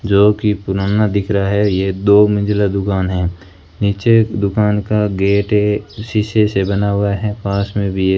जोकि पुराना दिख रहा है ये दो मंजिला दुकान है नीचे दुकान का गेट है शीशे से बना हुआ है पास में भी --